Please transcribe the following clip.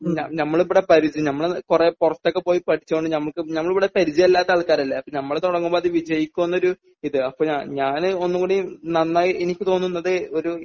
ഞമ്മളിവിടെ പരിചയം ഞമ്മള് കുറേ പുറത്തൊക്കെ പോയി പഠിച്ചു കൊണ്ട് ഞമുക്ക് ഞമ്മളിവിടെ പരിചയമില്ലാത്ത ആൾക്കാരല്ലേ അപ്പം നമ്മള് തുടങ്ങുമ്പോൾ അത് വിജയിക്കുമോ എന്നൊരു ഇത് അപ്പൊ ഞാനൊന്നുകൂടി നന്നായി എനിക്ക് തോന്നുന്നത് ഒരു